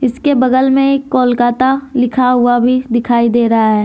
इसके बगल में एक कोलकाता लिखा हुआ भी दिखाई दे रहा है।